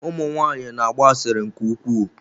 Ụmụ nwanyị na-agba asịrị nke ukwuu.